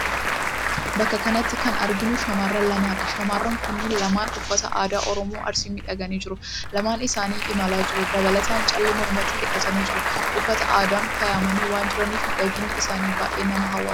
Bakka kanatti kan arginu shamarreen lama dha. Shamarreen kunniin lamaan uffata aadaa Oromoo Arsiin miidhaganii jiru. Lamaan isaanii imalaa jiru. Dabalataan callee mormatti hidhatanii jiru. Uffata aadaan faayamanii waan jiraniif miidhaginni isaanii baay'ee nama hawwata.